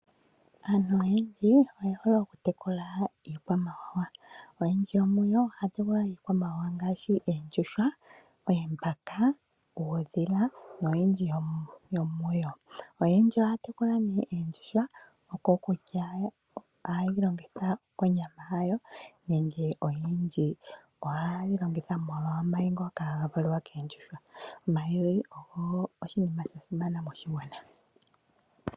Aantu oyendji oye hole okutekula iikwamawawa. Oyendji yomuyo ohaya tekula iikwamawawa ngaashi eendjushwa, eembaka, uudhila noyindji yomuyo. Oyendji ohaya tekula oondjuhwa, okokutya ohaye yi longitha konyama yawo nenge oyendji ohaye yi longitha molwa omayi ngoka haga valwa keendjushwa. Omayi ngoka ogo oshinima shasimana moshigwana.